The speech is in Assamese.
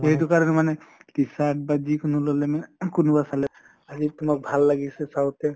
সেইটো কাৰণে মানে, t-shirt বা যিকোনো লʼলে মানে ing কোনোৱা চালে । আহি তোমাক ভাল লাগিছে চাওঁতে